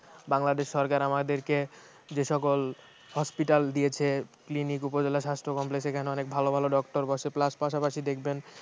বাংলাদেশ সরকার আমাদেরকে যে সকল hospital দিয়েছে clinic উপজেলা স্বাস্থ্য complex এখানে অনেক ভালো ভালো doctor বসে plus পাশাপাশি দেখবেন